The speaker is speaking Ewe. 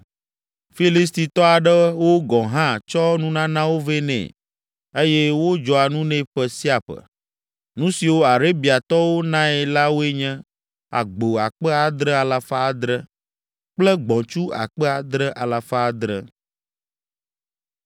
Filistitɔ aɖewo gɔ̃ hã tsɔ nunanawo vɛ nɛ eye wodzɔa nu nɛ ƒe sia ƒe. Nu siwo Arabiatɔwo nae la woe nye: agbo akpe adre alafa adre (7,700) kple gbɔ̃tsu akpe adre alafa adre (7,700).